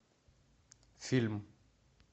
фильм